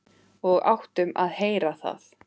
Og áttum að heyra það.